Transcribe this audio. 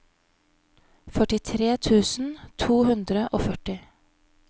førtitre tusen to hundre og førti